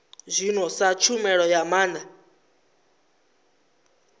zwino sa tshumelo ya maana